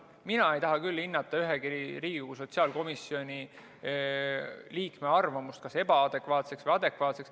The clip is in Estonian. Mina ei taha küll hinnata ühegi Riigikogu sotsiaalkomisjoni liikme arvamust kas ebaadekvaatseks või adekvaatseks.